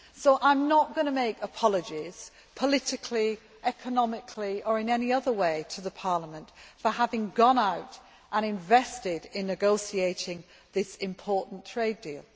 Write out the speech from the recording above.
So I am not going to make apologies politically, economically or in any other way to Parliament for having gone out and invested in negotiating this important trade deal.